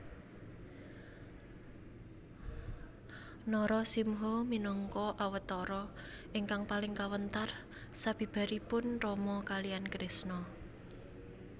Narasimha minangka awatara ingkang paling kawentar sabibaripun Rama kaliyan Krisna